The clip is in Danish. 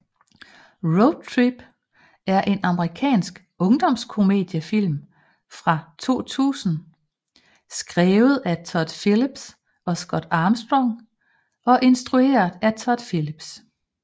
Road Trip er en amerikansk ungdomskomediefilm fra 2000 skrevet af Todd Phillips og Scott Armstrong og instrueret af Todd Phillips